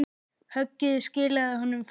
Höggið skilaði honum fugli.